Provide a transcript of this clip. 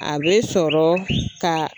A bɛ sɔrɔ ka